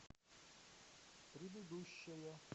предыдущая